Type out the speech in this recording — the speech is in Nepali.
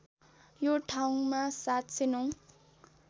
यो ठाउँमा ७०९